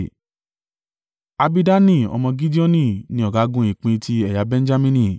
Abidani ọmọ Gideoni ni ọ̀gágun ìpín ti ẹ̀yà Benjamini.